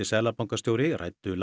seðlabankastjóri ræddu